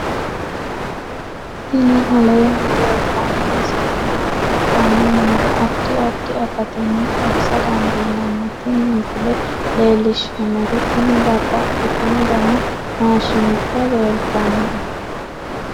tini aleenni leeltanno misile maa kultanno yiniro addi addi akatinni xawisa dandiinnanni tin misile leellishshannori tini babbaxitino dani maashshinubba leeltannoe